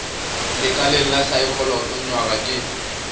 lekaleng la saekholot nywaga ke